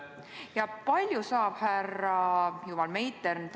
Ja kui palju saab härra Meitern tasu?